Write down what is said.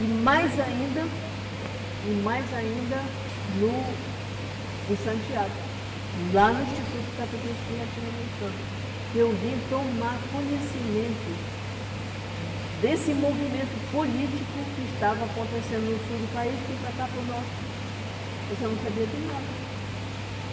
e mais ainda e mais ainda no em Santiago, lá no Instituto Catequístico Latino-Americano, que eu vim tomar conhecimento desse movimento político que estava acontecendo no sul do país, que para cá, para o norte, você não sabia de nada.